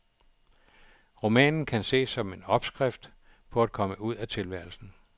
Romanen kan ses som en opskrift på at komme ud af tilværelsen.